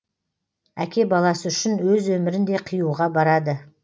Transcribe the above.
әке баласы үшін өз өмірін де қиюға барады